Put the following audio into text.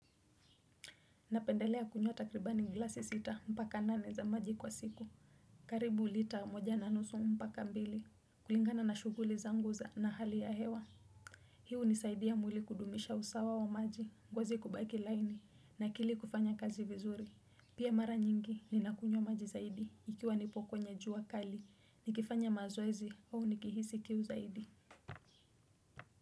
Napendelea kunywa takribani ngilasi sita mpaka nane za maji kwa siku. Karibu lita moja na nusu mpaka mbili. Kulingana na shuguli zangu za na hali ya hewa. Hii unisaidia mwili kudumisha usawa wa maji. Ngozi kubaki laini na akili kufanya kazi vizuri. Pia mara nyingi ni nakunyo maji zaidi. Ikiwa nipo kwenye jua kali. Nikifanya mazoezi huwa nikihisi kiu zaidi.